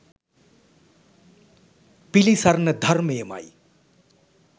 පිළිසරණ ධර්මය ම යි.